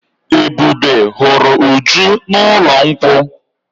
Ebube huru Uju n'ụlọ nkwu.